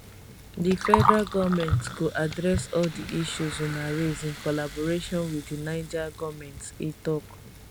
di federal goment go address all di issues una raise in collaboration wit di niger goment e tok